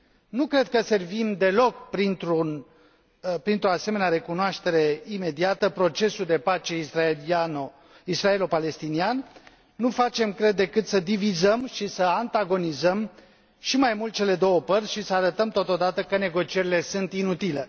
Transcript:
Nu cred că servim deloc, printr o asemenea recunoaștere imediată, procesul de pace israelo palestinian, nu facem, cred, decât să divizăm și să antagonizăm și mai mult cele două părți și să arătăm totodată că negocierile sunt inutile.